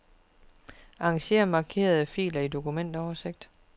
Arranger markerede filer i dokumentoversigt.